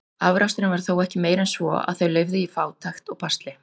Afraksturinn var þó ekki meiri en svo, að þau lifðu í fátækt og basli.